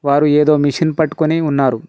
వారు ఏదో మిషన్ పట్టుకొని ఉన్నారు.